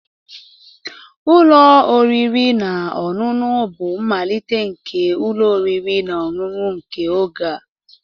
Ụlọ oriri na ọṅụṅụ bụ mmalite nke ụlọ oriri na ọṅụṅụ nke oge a